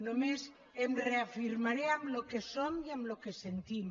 només em reafirmaré en el que som i en el que sentim